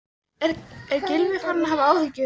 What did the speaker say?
Er Gylfi farinn að hafa áhyggjur?